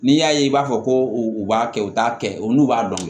N'i y'a ye i b'a fɔ ko u b'a kɛ u t'a kɛ u n'u b'a dɔn